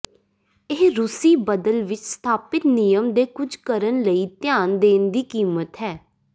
ਇਹ ਰੂਸੀ ਬਦਲ ਵਿਚ ਸਥਾਪਿਤ ਨਿਯਮ ਦੇ ਕੁਝ ਕਰਨ ਲਈ ਧਿਆਨ ਦੇਣ ਦੀ ਕੀਮਤ ਹੈ